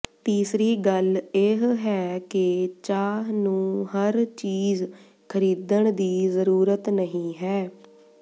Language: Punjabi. ਤੀਸਰੀ ਗੱਲ ਇਹ ਹੈ ਕਿ ਚਾਹ ਨੂੰ ਹਰ ਚੀਜ਼ ਖਰੀਦਣ ਦੀ ਜ਼ਰੂਰਤ ਨਹੀਂ ਹੈ